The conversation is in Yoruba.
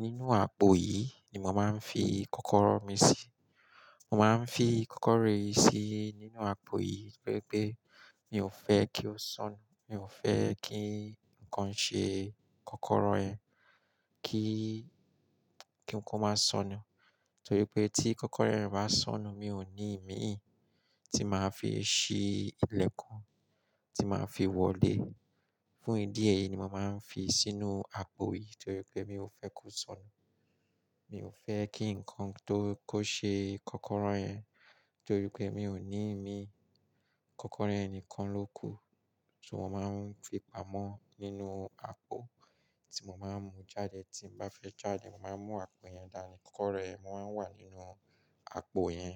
Nínú àpò yìí ni màá ń fi kọ́kọ́rọ́ mi sí. Màá ń fi kọ́kọ́rọ́ yìí sí nínú àpò yìí, gẹ́gẹ́ bí mi ò fẹ́ kí ó sọnù. Mi ò fẹ́ kí ǹkan ṣe kọ́kọ́rọ́ yẹn, kí, kí ǹkan máa sọnù. Torí pé tí kọ́kọ́rọ́ ẹ bá sọnù, mi ò ní ìmí tí màá fi ṣí ilẹ̀ kan, tí màá fi wọlé. Fún ìdí èyí ni màá ń fi sínú àpò yìí, torí pé mi ò fẹ́ kó sọnù. Mi ò fẹ́ kí ǹkan tó kó ṣe kọ́kọ́rọ́ ẹ, torí pé mi ò ní ìmí. Kọ́kọ́rọ́ ẹnìkan ló kù, so mó màá ń fi pamọ́ nínú àpò tí mo máa ń mú jáde. Tí mo bá fẹ́ jáde, màá mú àpò yẹn dání. Kọ́kọ́rọ́ ẹ máa ń wà nínú àpò yẹn.